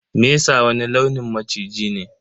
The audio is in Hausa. Mesa wani launin maciji ne.